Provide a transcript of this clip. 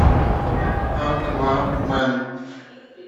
аквамен